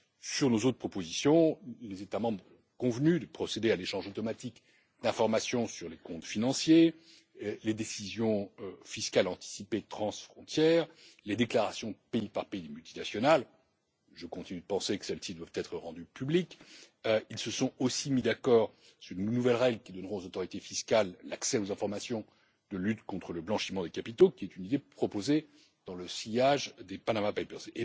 Sur nos autres propositions, les États membres ont convenu de procéder à l'échange automatique d'informations sur les comptes financiers, les décisions fiscales anticipées transfrontières, les déclarations pays par pays des multinationales je continue de penser que celles ci doivent être rendues publiques. Ils se sont aussi mis d'accord sur de nouvelles règles qui donneront aux autorités fiscales l'accès aux informations de lutte contre le blanchiment des capitaux, qui est une idée proposée dans le sillage des Panama Papers.